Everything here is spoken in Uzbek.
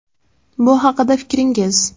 Bu haqida fikringiz?